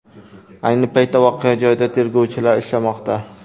Ayni paytda voqea joyida tergovchilar ishlamoqda.